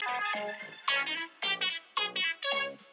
Fljótt varð það ljóst að þau yrðu aldrei aflögufær.